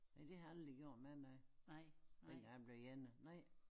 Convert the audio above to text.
Ja det har jeg aldrig jo mig noget dengang jeg blev ene